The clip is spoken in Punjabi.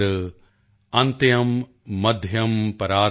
ਅਨਤਯੰ ਮਧਯੰ ਪਰਾਰਧ ਚ ਦਸ਼ ਵ੍ਰਿਦਧਯਾ ਯਥਾ ਕ੍ਰਮਮ੍॥